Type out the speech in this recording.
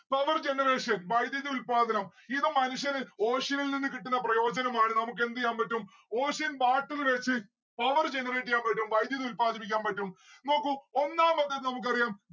power generation വൈദ്യുതി ഉൽപ്പാദനം ഇത് മനുഷ്യന് ocean ൽ നിന്നും കിട്ടുന്ന പ്രയോജനം ആണ്. നമ്മുക്ക് എന്തെയ്യൻ പറ്റും? ocean water വച്ച് power generate എയ്യാൻ പറ്റും. വൈധ്യുതി ഉൽപ്പാദിപ്പിക്കാൻ പറ്റും. നോക്കൂ ഒന്നാമത്തെ നമുക്കറിയാം